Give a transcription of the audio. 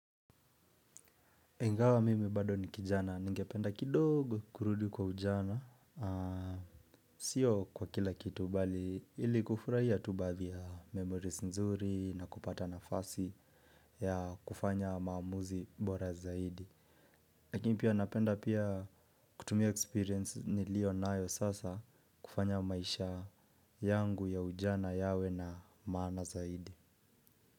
Ingawa mimi bado ni kijana, ningependa kidogo kurudi kwa ujana. Sio kwa kila kitu, bali ili kufurahia tu baadhi ya memories nzuri na kupata nafasi ya kufanya maamuzi bora zaidi. Lakini pia napenda pia kutumia experience nilionayo sasa kufanya maisha yangu ya ujana yawe na maana zaidi.